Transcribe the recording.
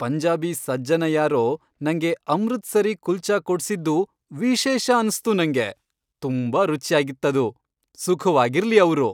ಪಂಜಾಬಿ ಸಜ್ಜನ ಯಾರೋ ನಂಗೆ ಅಮೃತ್ಸರೀ ಕುಲ್ಚಾ ಕೊಡ್ಸಿದ್ದು ವಿಶೇಷ ಅನ್ಸ್ತು ನಂಗೆ.. ತುಂಬಾ ರುಚ್ಯಾಗಿತ್ತದು.. ಸುಖವಾಗಿರ್ಲಿ ಅವ್ರು.